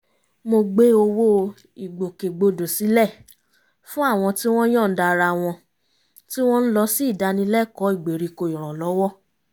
mo gbé owó ìgbòkegbodò sílẹ̀ fún àwọn tí wọ́n yọ̀ǹda ara wọn tí wọ́n ń lọ sí ìdánilẹ́kọ̀ọ́ ìgbériko ìrànlọ́wọ́